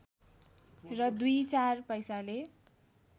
र दुई चार पैसाले